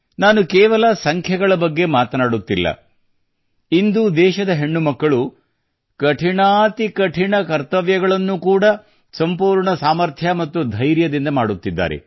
ನಾನು ಕೇವಲ ಸಂಖ್ಯೆಗಳ ಬಗ್ಗೆ ಮಾತನಾಡುತ್ತಿಲ್ಲ ಇಂದು ದೇಶದ ಹೆಣ್ಣುಮಕ್ಕಳು ಕಠಿಣ ಡ್ಯೂಟಿ ಕೂಡಾ ಸಂಪೂರ್ಣ ಸಾಮರ್ಥ್ಯ ಮತ್ತು ಭರವಸೆಯಿಂದ ಮಾಡುತ್ತಿದ್ದಾರೆ